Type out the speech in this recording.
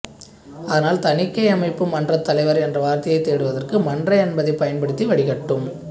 அதனால் தணிக்கையமைப்பு மன்றத் தலைவர் என்ற வார்த்தையைத் தேடுவதற்கு மன்ற என்பதைப் பயன்படுத்தி வடிகட்டும்